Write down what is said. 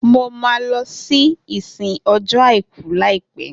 Mo ma lọ sí ìsìn ọjọ́ àìkú laipẹ